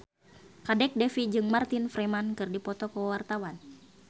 Kadek Devi jeung Martin Freeman keur dipoto ku wartawan